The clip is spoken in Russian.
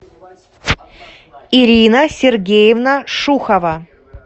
ирина сергеевна шухова